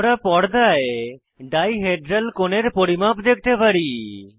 আমরা পর্দায় dihedral কোণের পরিমাপ দেখতে পারি